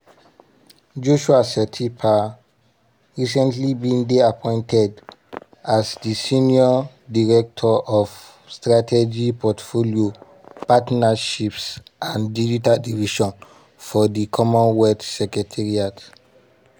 joshua setipa recently bin dey appointed as di senior director of strategy portfolio partnerships and digital division for di commonwealth secretariat.